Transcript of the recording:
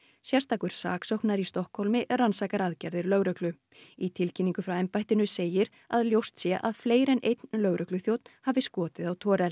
sérstakur saksóknari í Stokkhólmi rannsakar aðgerðir lögreglu í tilkynningu frá embættinu segir að ljóst sé að fleiri en einn lögregluþjónn hafi skotið á